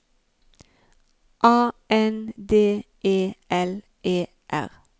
A N D E L E R